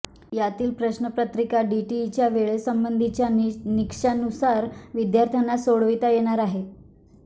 यातील प्रश्नपत्रिका डीटीईच्या वेळेसंबंधीच्या निकषानुसार विद्यार्थ्यांना सोडविता येणार आहे